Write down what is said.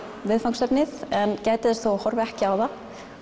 viðfangsefnið en gætir þess þó að horfa ekki á það